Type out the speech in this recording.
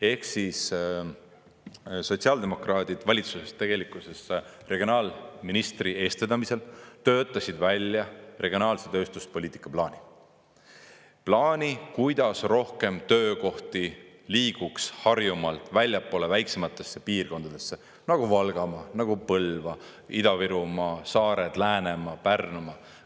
Ehk siis sotsiaaldemokraadid valitsuses, tegelikkuses regionaalministri eestvedamisel töötasid välja regionaalse tööstuspoliitika plaani – plaani, kuidas rohkem töökohti liiguks Harjumaalt väljapoole väiksematesse piirkondadesse, nagu Valgamaa, Põlva, Ida-Virumaa, saared, Läänemaa, Pärnumaa.